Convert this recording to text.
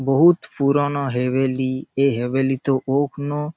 বহুৎ পুরোনো হ্যেভেলি ।এই হ্যেভেলি তে অগ্ন--